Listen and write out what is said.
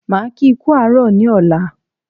Máa kí kú àárọ̀ ní ọ̀la